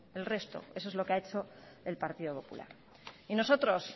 el resto eso es lo que ha hecho el partido popular y nosotros